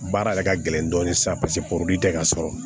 Baara yɛrɛ ka gɛlɛn dɔɔnin sisan paseke porori tɛ ka sɔrɔ